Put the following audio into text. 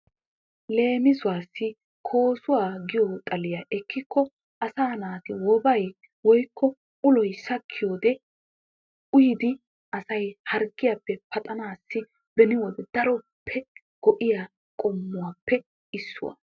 Leemisuwaassi koosuwa giyo xaliyaa ekkikko asaa naati wobay woyikko uloy sakkiyodee uyidi asay harggiyaappe paxanaassi beni wode daroppe go"iyaa qommuwaappe issuwaa.